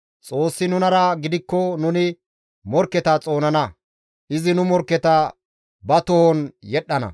Xoossi nunara gidikko nuni morkketa xoonana; izi nu morkketa ba tohon yedhdhana.